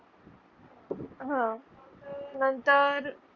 हा. नंतर.